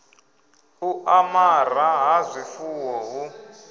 u amara ha zwifuwo hu